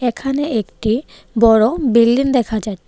এখানে একটি বড় বিল্ডিং দেখা যাচ্ছে.